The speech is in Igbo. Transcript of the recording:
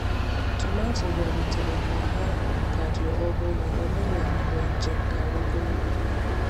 Tomanto bịarutere ka ha ka dị ọhụrụ ọbụna mgbe njem gara ogologo.